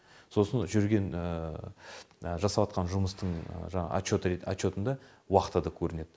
сосын жүрген жасаватқан жұмыстың жаңағы отчетында уақыты да көрінеді